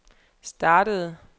startede